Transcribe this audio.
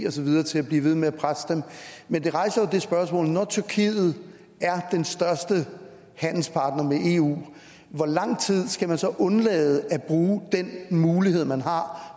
og så videre til at blive ved med at presse dem men det rejser jo det spørgsmål at når tyrkiet er den største handelspartner med eu hvor lang tid skal man så undlade at bruge den mulighed man har